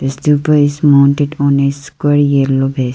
the stupa is mounted on a square yellow base.